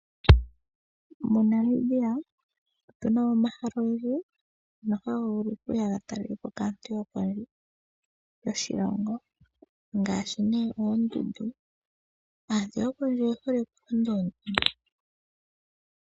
MoNamibia otu na mo omahala ogendji ngoka haga vulu okuya ga talelwe po kaantu yopondje yoshilongo, ngaashi nee oondundu. Aantu yokondje oye hole okulonda oondundu.